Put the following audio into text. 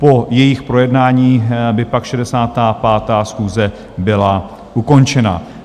Po jejich projednání by pak 65. schůze byla ukončena.